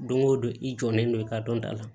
Don o don i jɔlen don i ka dɔnta la